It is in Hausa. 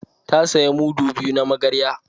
Ta saya mudu biyu na magarya